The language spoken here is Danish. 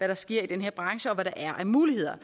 der sker i den her branche og hvad der er af muligheder